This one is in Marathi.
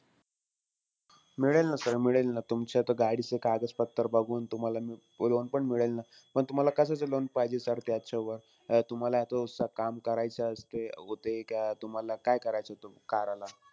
मिळेल न sir मिळेल न. तुमच्या तर गाडीचे कागदपत्र बघून तुम्हाला loan पण मिळेल न. पण तुम्हाला कशाचं loan पाहिजे sir त्याच्यावर? अं तुम्हाला तो तस काम करायचं असते, तुम्हाला काय करायचं तो car ला?